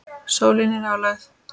Sólin í nálægð.